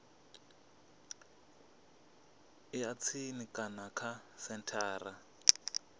ya tsini kana kha senthara